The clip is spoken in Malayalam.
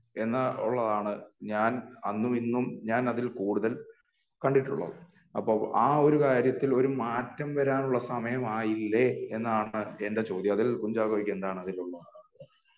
എന്ന് ഉള്ളതാണ് ഞാൻ അന്നും ഇന്നും ഞാൻ അതിൽ കൂടുതൽ കണ്ടിട്ടുള്ളത് അപ്പൊ ആ ഒരു കാര്യത്തിൽ ഒരു മാറ്റം വരാനുള്ള സമയം ആയില്ലേ എന്നാണ് എൻ്റെ ചോദ്യം അതിൽ കുഞ്ചാക്കോക് എന്താണ് അതിൽ